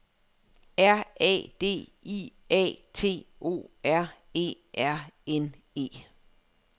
R A D I A T O R E R N E